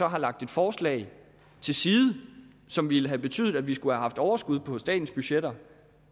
har lagt et forslag til side som ville have betydet at vi skulle have haft overskud på statens budgetter